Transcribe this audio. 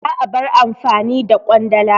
Za'a bar amfani da Ƙwandala.